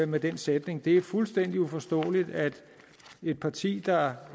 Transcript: med den sætning det er fuldstændig uforståeligt at et parti der